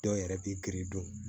Dɔw yɛrɛ b'i gindo dun